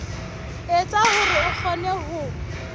etsa hore a kgone ho